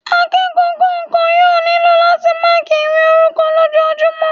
Akẹ́kọ̀ọ́ kọ̀ọ̀kan yóò nílò láti máàkí ìwé orúkọ lójojúmọ́